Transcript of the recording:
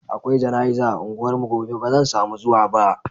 Akwai jana'iza a unguwarmu gobe ba zan samu zuwa ba.